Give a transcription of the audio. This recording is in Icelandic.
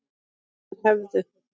Þeir hefðu